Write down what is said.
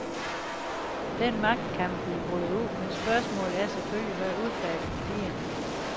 Den magtkamp vil bryde ud, men spørgsmålet er selvfølgelig, hvad udfaldet bliver.